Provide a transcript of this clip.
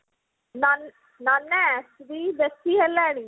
ନ ନାନା ଆସିବି ବେସୀ ହେଲାଣି